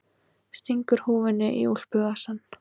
Stingur húfunni í úlpuvasann.